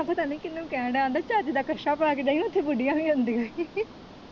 ਪਤਾ ਨਹੀਂ ਕਿਨੂੰ ਕਹਿਣ ਦਿਆ ਆਂਦਾ ਚੱਜ ਦਾ ਕੱਛਾ ਪਾ ਕੇ ਜਾਵੀ ਉੱਥੇ ਬੁਡੀਆਂ ਵੀ ਆਉਂਦੀਆਂ ਈ